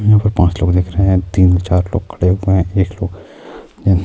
یہاں پانچ لوگ دکھ رہے ہیں تین چار لوگ کھڑے ہو گئے ہیں ایک